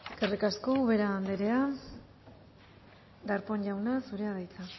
eskerrik asko ubera andrea darpón jauna zurea da hitza